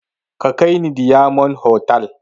Ka kai ni diyamond hotal